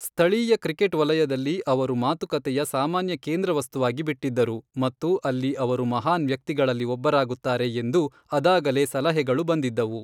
ಸ್ಥಳೀಯ ಕ್ರಿಕೆಟ್ ವಲಯದಲ್ಲಿ ಅವರು ಮಾತುಕತೆಯ ಸಾಮಾನ್ಯ ಕೇಂದ್ರವಸ್ತುವಾಗಿ ಬಿಟ್ಟಿದ್ದರು ಮತ್ತು ಅಲ್ಲಿ ಅವರು ಮಹಾನ್ ವ್ಯಕ್ತಿಗಳಲ್ಲಿ ಒಬ್ಬರಾಗುತ್ತಾರೆ ಎಂದು ಅದಾಗಲೇ ಸಲಹೆಗಳು ಬಂದಿದ್ದವು.